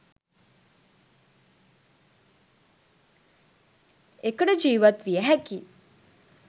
එකට ජීවත් විය හැකි